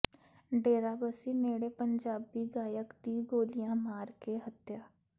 ਡੇਰਾਬਸੀ ਨੇੜੇ ਪੰਜਾਬੀ ਗਾਇਕ ਦੀ ਗੋਲੀਆਂ ਮਾਰ ਕੇ ਹੱਤਿਆ